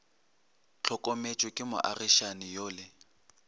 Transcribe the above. hlokometšwe ke moagišani yo le